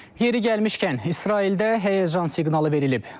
Yeri gəlmişkən, İsraildə həyəcan siqnalı verilib.